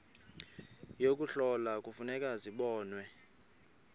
yokuhlola kufuneka zibonwe